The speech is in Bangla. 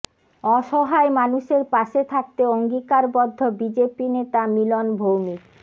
অসহায় মানুষের পাশে থাকতে অঙ্গীকার বদ্ধ বিজেপি নেতা মিলন ভৌমিক